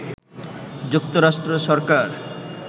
যুক্তরাষ্ট্র সরকার